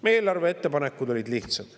Meie eelarveettepanekud olid lihtsad.